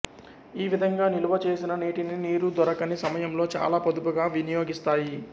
ఈ విధంగా నిలువచేసిన నీటిని నీరు దొరకని సమయంలో చాలా పొదుపుగా వినియోగిస్తాయి